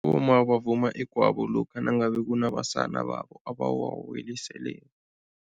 Abomma bavuma igwabo lokha nangabe kunabasana babo abawawelisele.